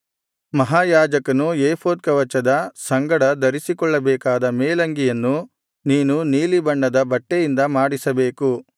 ಮಹಾಯಾಜಕನು ಏಫೋದ್ ಕವಚದ ಸಂಗಡ ಧರಿಸಿಕೊಳ್ಳಬೇಕಾದ ಮೇಲಂಗಿಯನ್ನು ನೀನು ನೀಲಿಬಣ್ಣದ ಬಟ್ಟೆಯಿಂದಲೇ ಮಾಡಿಸಬೇಕು